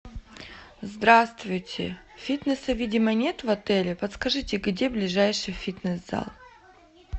здравствуйте фитнеса видимо нет в отеле подскажите где ближайший фитнес зал